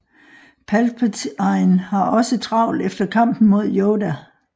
Palpatine har også travlt efter kampen mod Yoda